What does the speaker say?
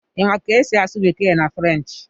Ị ma ka esi asụ bekee na French